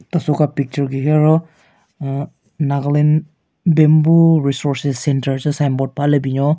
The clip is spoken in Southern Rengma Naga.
Teso ka picture gu hi aro aahh Nagaland bamboo resources center che signboard paha le binyon.